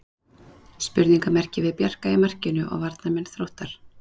Spurningarmerki við Bjarka í markinu og varnarmenn Þróttar.